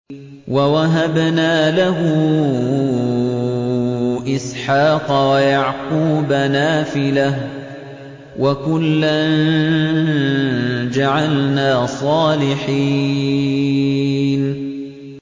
وَوَهَبْنَا لَهُ إِسْحَاقَ وَيَعْقُوبَ نَافِلَةً ۖ وَكُلًّا جَعَلْنَا صَالِحِينَ